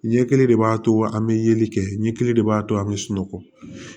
Ɲɛkili de b'a to an bɛ yeli kɛ ɲɛ kelen de b'a to an bɛ sunɔgɔ